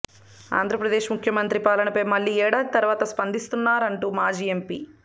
ఆంధ్రప్రదేశ్ ముఖ్యమంత్రి పాలనపై మళ్లీ ఏడాది తర్వాత స్పందిస్తానంటున్నారు మాజీ ఎంపీ